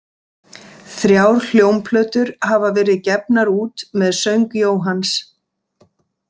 Þrjár hljómplötur hafa verið gefnar út með söng Jóhanns.